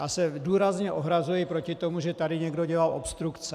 Já se důrazně ohrazuji proti tomu, že tady někdo dělal obstrukce.